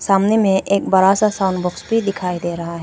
सामने में एक बड़ा सा साउंड बॉक्स भी दिखाई दे रहा है।